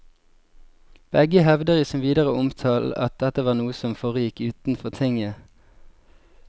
Begge hevder i sin videre omtale at dette var noe som foregikk utenfor tinget.